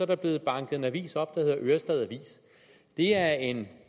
der blevet banket en avis op der hedder ørestad avis det er en